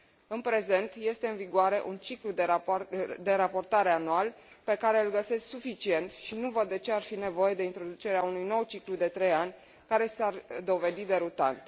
În prezent este în vigoare un ciclu de raportare anual pe care îl găsesc suficient și nu văd de ce ar fi nevoie de introducerea unui nou ciclu de trei ani care s ar dovedi derutant.